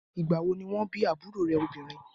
Ìgbà wo ni wọ́n bí àbúrò rẹ̀ obìnrin?